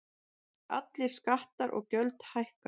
Allir skattar og gjöld hækka